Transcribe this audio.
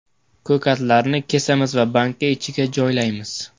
Ko‘katlarni kesamiz va banka ichiga joylaymiz.